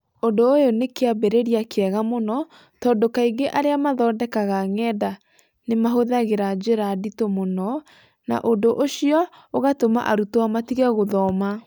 Ũndũ ũyũ nĩ kĩambĩrĩria kĩega mũno, tondũ kaingĩ arĩa mathondekaga ng’enda nĩ mahũthagĩra njĩra nditũ mũno, na ũndũ ũcio ũgatũma arutwo matige gũthoma.